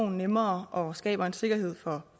nemmere og skaber en sikkerhed for